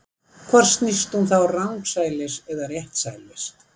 Hvort snýst hún þá rangsælis eða réttsælis?